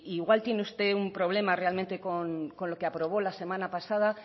igual tiene usted un problema realmente con lo que aprobó la semana pasada